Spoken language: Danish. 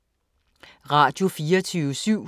Radio24syv